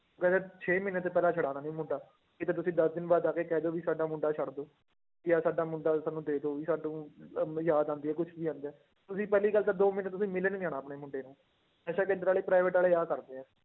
ਕਹਿੰਦੇ ਛੇ ਮਹੀਨੇ ਤੋਂ ਪਹਿਲਾਂ ਛੁਡਾਉਣਾ ਨੀ ਮੁੰਡਾ, ਕਿਤੇ ਤੁਸੀਂ ਦਸ ਦਿਨ ਬਾਅਦ ਆ ਕੇ ਕਹਿ ਦਓ ਵੀ ਸਾਡਾ ਮੁੰਡਾ ਛੱਡ ਦਓ ਜਾਂ ਸਾਡਾ ਮੁੰਡਾ ਸਾਨੂੰ ਦੇ ਦਓ ਵੀ ਸਾਨੂੰ ਅਹ ਯਾਦ ਆਉਂਦੀ ਹੈ ਕੁਛ ਵੀ ਆਉਂਦਾ ਹੈ, ਤੁਸੀਂ ਪਹਿਲੀ ਗੱਲ ਤਾਂ ਦੋ ਮਹੀਨੇ ਤੁਸੀਂ ਮਿਲਣ ਨੀ ਆਉਣਾ ਆਪਣੇ ਮੁੰਡੇ ਨੂੰ, ਨਸ਼ਾ ਕੇਂਦਰ ਵਾਲੇ private ਵਾਲੇ ਆਹ ਕਰਦੇ ਆ